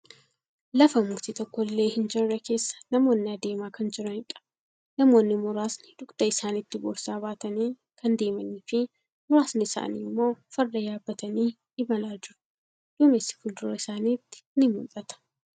Lafa mukti tokkollee hin jirre keessa namoonni deemaa kan jiraniidha. Namoonni muraasni dugda isaanitti boorsaa baatanii kan deemanii fi muraasni isaanii immoo farda yaabbatanii imalaa jiru. Duumessi fuuldura isaanitti ni mul'ata.